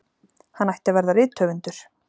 Hann ætti að verða rithöfundur!